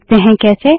देखते है कैसे